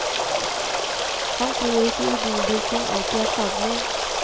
Han tror ikke idoldyrking alltid er skadelig.